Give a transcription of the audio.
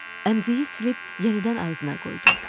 Əmziyi silib yenidən ağzına qoydum.